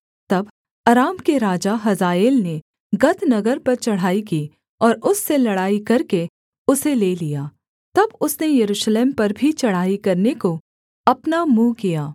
तब अराम के राजा हजाएल ने गत नगर पर चढ़ाई की और उससे लड़ाई करके उसे ले लिया तब उसने यरूशलेम पर भी चढ़ाई करने को अपना मुँह किया